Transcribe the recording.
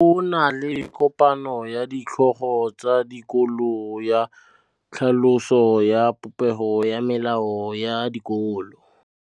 Go na le kopanô ya ditlhogo tsa dikolo ya tlhaloso ya popêgô ya melao ya dikolo.